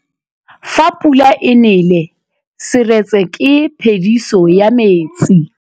Fa pula e nelê serêtsê ke phêdisô ya metsi.